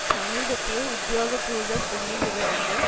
சமீபத்திய உத்தியோக பூர்வ புள்ளி விவரங்கள்